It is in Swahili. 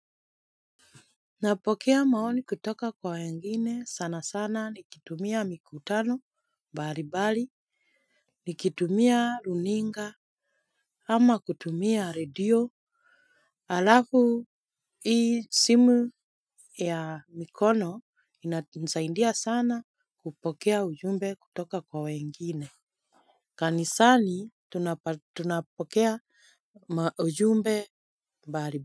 Napokea maoni kutoka kwa wengine sana sana ni kitumia mikutano bari bali nikitumia runinga ama kutumia radio. Alafu hii simu ya mikono inatunzaindia sana kupokea ujumbe kutoka kwa wengine. Kanisani tunapokea ujumbe bari bali.